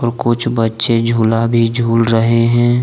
कुछ बच्चे झूला भी झूल रहे हैं।